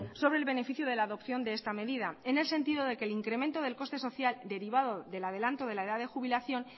sobre el beneficio de la adopción de esta medida en el sentido de que el incremento del coste social derivado del adelanto de la edad de jubilación